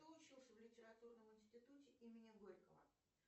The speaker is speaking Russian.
кто учился в литературном институте имени горького